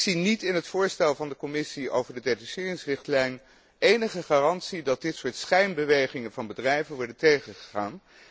Ik zie niet in het voorstel van de Commissie over de detacheringsrichtlijn enige garantie dat dit soort schijnbewegingen van bedrijven wordt tegengegaan